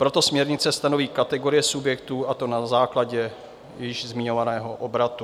Proto směrnice stanoví kategorie subjektů, a to na základě již zmiňovaného obratu.